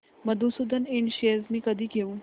मधुसूदन इंड शेअर्स मी कधी घेऊ